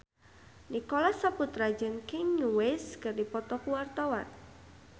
Nicholas Saputra jeung Kanye West keur dipoto ku wartawan